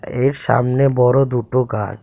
এর সামনে বড়ো দুটো গাছ।